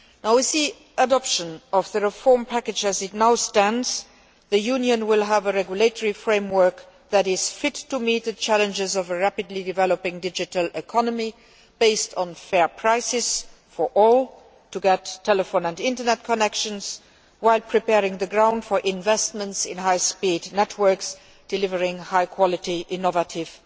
With the adoption of the reform package as it now stands, the Union will have a regulatory framework that is fit to meet the challenges of a rapidly developing digital economy based on fair prices for all to get telephone and internet connections, while preparing the ground for investments in high speed networks delivering high quality, innovative